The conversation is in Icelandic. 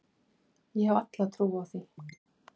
Ég hef alla trú á því.